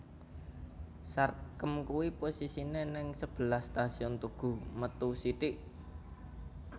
Sarkem kui posisine ning sebelah Stasiun Tugu metu sithik